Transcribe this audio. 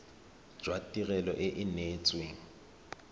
jwa tirelo e e neetsweng